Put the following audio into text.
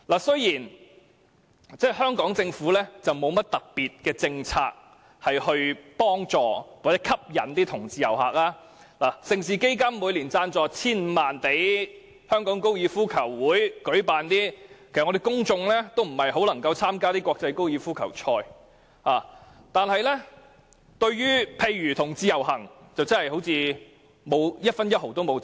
雖然香港政府沒有甚麼特別政策幫助吸引同志遊客，盛事基金每年雖然撥出 1,500 萬元贊助香港高爾夫球會舉辦活動，但沒有多少人能參與這些國際高爾夫球賽，而對同志遊行，政府更沒有贊助過一分一毫。